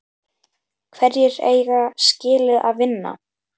Hverjir eiga skilið að vinna?